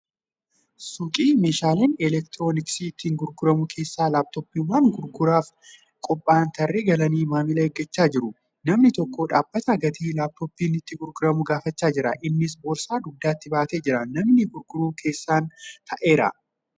Suuqii meeshaaleen elektirooniksii itti gurguraman keessa laaptooppiiwwan gurguraaf qophaa'an tarree galanii maamila eeggachaa jiru. Namni tokko dhaabbatee gatii laaptooppiin itti gurguramu gaafachaa jira. Innis boorsaa dugdatti baatee jira. Namni gurguru keessan taa'eera.